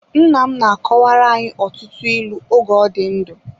Nnam na-akọwara anyị ọtụtụ ịlụ oge ọ dị ndụ.